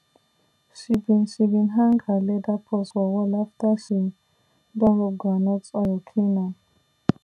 she bin she bin hang her leather purse for wall after she don rub groundnut oil clean am